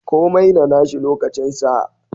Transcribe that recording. Komai da nashi lokacin sa.